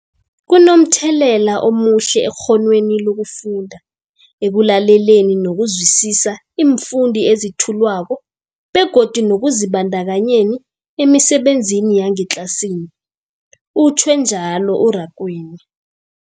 Kunomthelela omuhle ekghonweni lokufunda, ekulaleleni nokuzwisiswa iimfundo ezethulwako begodu nekuzibandakanyeni emisebenzini yangetlasini, utjhwe njalo u-Rakwena.